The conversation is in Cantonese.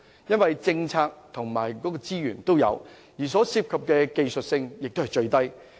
因為政策及資源也有，所涉及的技術性也是最低。